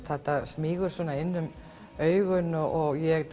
þetta smýgur inn um augun og ég